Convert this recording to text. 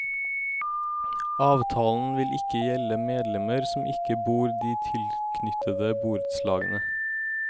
Avtalen vil ikke gjelde medlemmer som ikke bor de tilknyttede borettslagene.